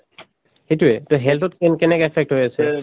সেইটোয়ে to health ত কেন‍‍ কেনেকে effect হৈ আছে